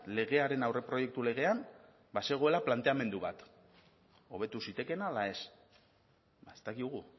legearen aurreproiektu legean bazegoela planteamendu bat hobetu zitekeena ala ez ez dakigu